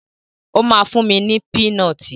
Ó máa fún mi ní pínọtì.